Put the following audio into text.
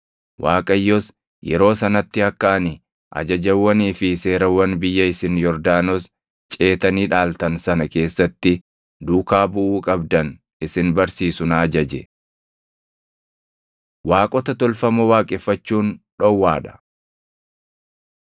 Waaqayyos yeroo sanatti akka ani ajajawwanii fi seerawwan biyya isin Yordaanos ceetanii dhaaltan sana keessatti duukaa buʼuu qabdan isin barsiisu na ajaje. Waaqota Tolfamoo Waaqeffachuun Dhowwaa dha